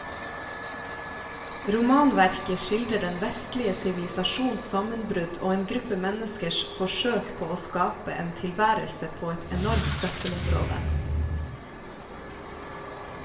Romanverket skildrer den vestlige sivilisasjons sammenbrudd og en gruppe menneskers forsøk på å skape en tilværelse på et enormt søppelområde.